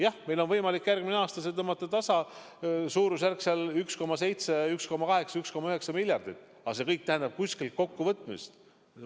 Jah, meil on võimalik järgmine aasta tõmmata see tasa, suurusjärgus 1,7 või 1,8 või 1,9 miljardit, aga see kõik tähendab kuskilt kokkuvõtmist.